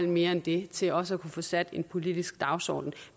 mere end det til også at kunne få sat en politisk dagsorden